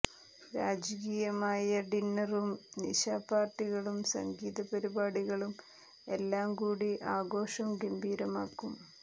രാജകീയമായ ഡിന്നറും നിശാപാര്ട്ടികളും സംഗീത പരിപാടികളും എല്ലാം കൂടി ആഘോഷം ഗംഭീരമാക്കും